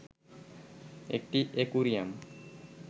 একটি অ্যাকোয়ারিয়াম